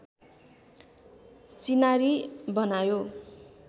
चिनारी बनायो